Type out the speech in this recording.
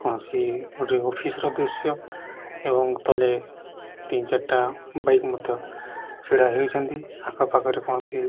କୌଣସି ଗୋଟେ ଅଫିସ୍ ର ଦୃଶ୍ୟ ଏବଂ ତଲେ ତିନି ଚାରି ଟା ବାଇକ୍ ମଧ୍ୟ ଛିଡା ହେଇଅଛନ୍ତି ଆଖପାଖରେ କୌଣସି --